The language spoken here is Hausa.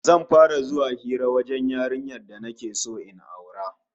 Zan fara zuwa hira wajen yarinyar da nake so in aura